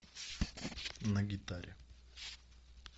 на гитаре